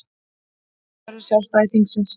Auka verður sjálfstæði þingsins